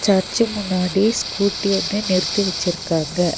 Church முன்னாடி scooty ஒன்னு நிறுத்தி வெச்சிருக்காங்க.